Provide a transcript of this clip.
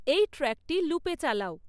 এই ট্র্যাকটি লুপে চালাও